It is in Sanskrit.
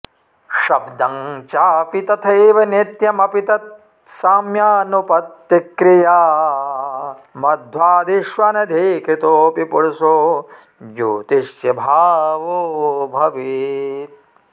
शब्दं चापि तथैव नित्यमपि तत् साम्यानुपत्तिक्रिया मध्वादिष्वनधीकृतोऽपि पुरुषो ज्योतिष्यभावो भवेत्